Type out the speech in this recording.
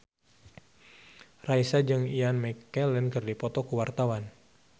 Raisa jeung Ian McKellen keur dipoto ku wartawan